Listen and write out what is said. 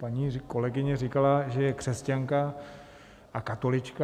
Paní kolegyně říkala, že je křesťanka a katolička.